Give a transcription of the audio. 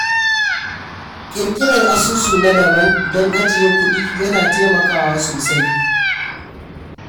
Ƙirƙirar asusu na daban don ajiye kuɗi ya na taimakawa sosai.